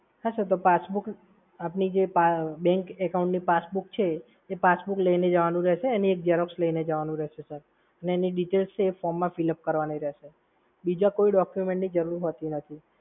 હા સર, તો પાસબુક આપની જે bank account passbook છે એ પાસબુક લઈને જવાનું રહેશે અને એક ઝેરોક્ષ લઈને જવાનું રહેશે સર. એની details form મા fill-up કરવાની રહેશે. બીજા કોઈ documents ની જરૂર નથી હોતી.